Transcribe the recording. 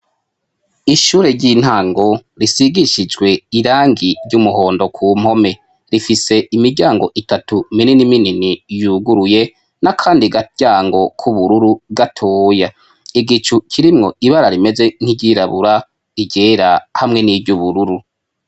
ishure ry'intango risigishijwe irangi ry'umuhondo ku mpome rifise imiryango itatu minini minini yuguruye na kandi gatyango k'ubururu gatoya igicu kirimwo ibara rimeze nk'iryirabura igera hamwe n'iry'ubururu